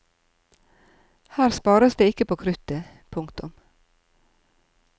Her spares det ikke på kruttet. punktum